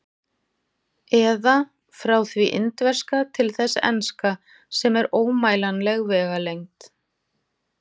Eða: frá því indverska til þess enska, sem er ómælanleg vegalengd.